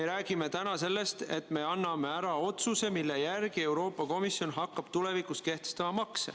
Me räägime täna sellest, et me teeme otsuse, mille järgi Euroopa Komisjon hakkab tulevikus makse kehtestama.